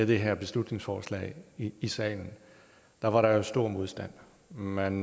det her beslutningsforslag i salen var var der stor modstand man